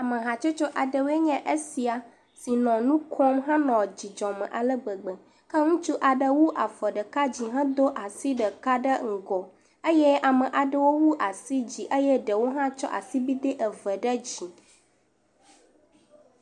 Amehatsotso aɖewoe nye esia, si nɔ nu kom henɔ dzidzɔ me ale gbegbe, ke ŋutsu aɖe wu afɔ ɖeka dzi hedo asi ɖeka ɖe ŋgɔ eye ame aɖewo wu asi dzi eye ɖewo hã tsɔ asibide eve ɖe dzi.